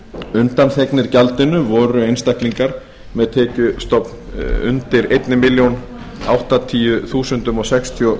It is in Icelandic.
undanþegnir gjaldinu voru einstaklingar með tekjuskattstofn undir einni milljón áttatíu þúsund sextíu og